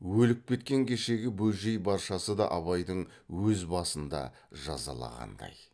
өліп кеткен кешегі бөжей баршасы да абайдың өз басын да жазаланғандай